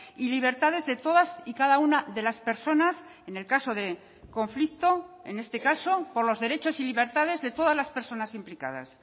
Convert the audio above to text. y libertades de todas y cada una de las personas en el caso de conflicto en este caso por los derechos y libertades de todas las personas implicadas